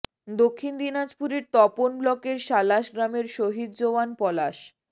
দক্ষিণ দিনাজপুরের তপন ব্লকের সালাশ গ্রামের শহিদ জওয়ান পলাশ